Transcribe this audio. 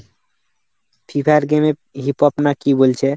Fee fire game এ hip hop না কি বলছে?